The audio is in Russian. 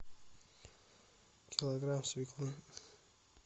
килограмм свеклы